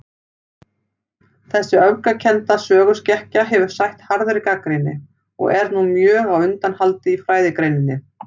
Þessi öfgakennda söguskekkja hefur sætt harðri gagnrýni., og er nú mjög á undanhaldi í fræðigreininni.